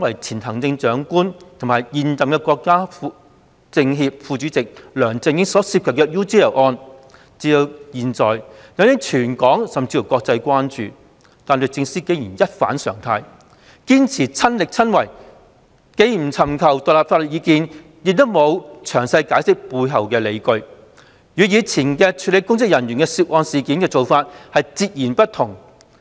前行政長官和現任全國政協副主席的梁振英所涉及的 UGL 一案至今引起全港甚至國際關注，但律政司竟然一反常態，堅持"親力親為"，既不尋求獨立法律意見，亦沒有詳細解釋背後理據，與以往處理涉及公職人員的案件的手法截然不同。